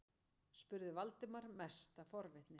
spurði Valdimar, mest af forvitni.